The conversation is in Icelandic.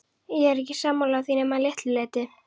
Ég er ekki sammála því nema að litlu leyti.